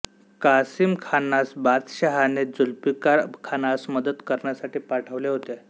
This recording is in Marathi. कासीम खानास बादशाहने जुल्फिकार खानास मदत करण्यासाठी पाठविले होते